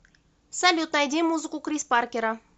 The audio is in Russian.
салют найди музыку крис паркера